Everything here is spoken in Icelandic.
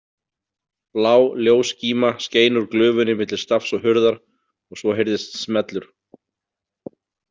Blá ljósskíma skein úr glufunni milli stafs og hurðar og svo heyrðist smellur.